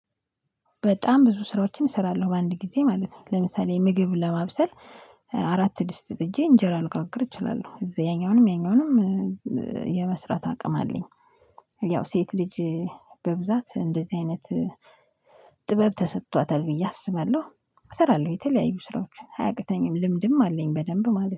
በጣም ብዙ ስራዎችን እሰራለሁ በአንድ ጊዜ ማለት ነው። ለምሳሌ ምግብ ለማብሰል አራት ድስት ጥጄ እንጀራ ልጋግር እችላለሁ እዛ ያኛውንም ያኛውንም የመስራት አቅም አለኝ። ያው ሴት ልጅ በብዛት እንደዚህ አይነት ጥበብ ተሰጥቷታል ብዬ አስባለሁ። እሰራለሁ የተለያዩ ስራዎች አያቅተኝም ልምድም አለኝ በደንብ ማለት ነው